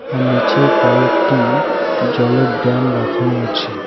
আর নীচে কয়েকটি জলের ড্যাম রাখানো আছে